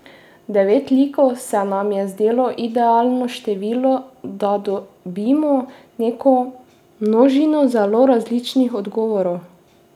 Devet likov se nama je zdelo idealno število, da dobimo neko množino zelo različnih odgovorov.